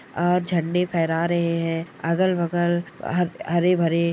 आ झंडे फेहरा रहे हैं और अगल-बगल हर हरे-भरे